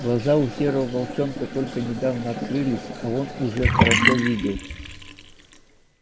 глаза у серого волчонка только недавно открылись а он уже хорошо видел